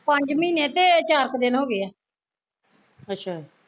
ਪੰਜ ਮਹੀਨੇ ਤੇ ਚਾਰ ਕੁ ਦਿਨ ਹੋਗੇ ਐ